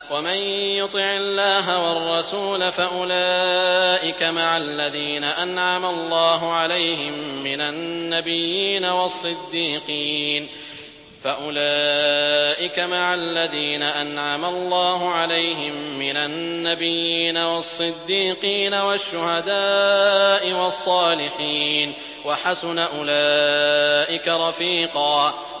وَمَن يُطِعِ اللَّهَ وَالرَّسُولَ فَأُولَٰئِكَ مَعَ الَّذِينَ أَنْعَمَ اللَّهُ عَلَيْهِم مِّنَ النَّبِيِّينَ وَالصِّدِّيقِينَ وَالشُّهَدَاءِ وَالصَّالِحِينَ ۚ وَحَسُنَ أُولَٰئِكَ رَفِيقًا